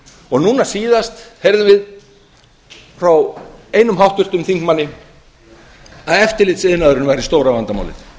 og núna síðast heyrðum við frá einum háttvirtum þingmanni að eftirlits iðnaðurinn væri stóra vandamálið